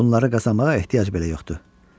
Bunları qazanmağa ehtiyac belə yoxdur.